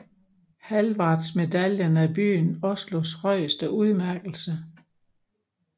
Hallvardsmedaljen er byen Oslos højeste udmærkelse